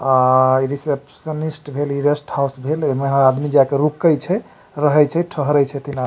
अ receptionist इ rest house भेल एमे आदमी जाय के रुके छै रहय छै ठहरे छै।